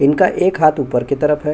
इनका एक हाथ ऊपर की तरफ है।